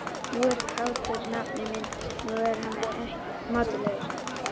Nú er kátur nafni minn, nú er hann mátulegur.